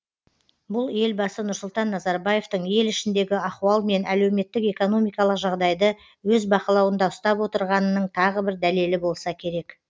бұл елбасы нұрсұлтан назарбаевтың ел ішіндегі ахуал мен әлеуметтік экономикалық жағдайды өз бақылауында ұстап отырғанының тағы бір дәлелі болса керек